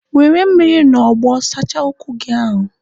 Were mmiri na ogbo sachaa ụkwụ gị ahụ!